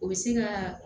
O bɛ se ka